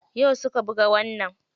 Yau suka buga wannan.